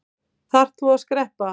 Þarft þú að skreppa?